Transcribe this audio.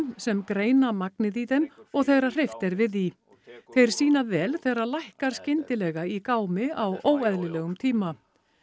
sem greina magnið í þeim og þegar hreyft er við því þeir sýna vel þegar lækkar skyndilega í gámi á óeðlilegum tíma